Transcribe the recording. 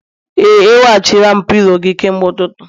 Ee, eweghachila m pilo gị kemgbe ụtụtụ